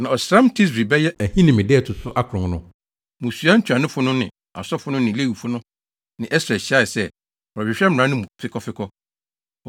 Na ɔsram Tisri (bɛyɛ Ahinime) da a ɛto so akron no, mmusua ntuanofo no ne asɔfo no ne Lewifo no ne Ɛsra hyiae sɛ, wɔrehwehwɛ mmara no mu fekɔfekɔ.